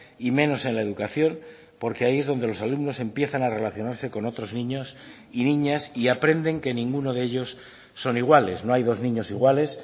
y menos en la educación porque ahí es donde los alumnos empiezan a relacionarse con otros niños y niñas y aprenden que ninguno de ellos son iguales no hay dos niños iguales